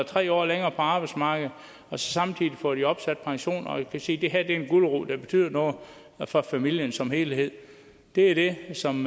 tre år længere på arbejdsmarkedet og samtidig får de opsat pension og kan se at det her en gulerod der betyder noget for familien som helhed det er det som